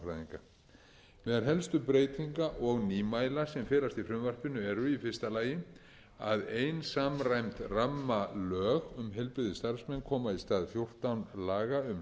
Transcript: meðal helstu breytinga og nýmæla sem felast í frumvarpinu eru í fyrsta lagi að ein samræmd rammalög um heilbrigðisstarfsmenn koma í stað fjórtán laga um